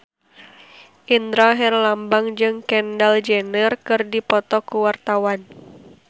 Indra Herlambang jeung Kendall Jenner keur dipoto ku wartawan